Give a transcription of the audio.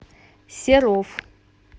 серов